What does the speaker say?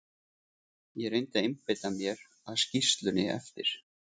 Ég reyndi að einbeita mér að skýrslunni eftir